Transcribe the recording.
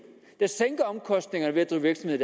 der sænker omkostningerne ved at drive virksomhed